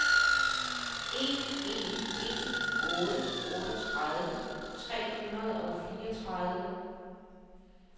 en en en otte otteogtredive tre hundrede og fireogtredive